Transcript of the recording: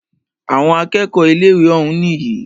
Àwọn akẹ́kọ̀ọ́ ilé ìwé òún nìyí.